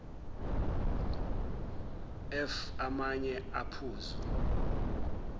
f amanye amaphuzu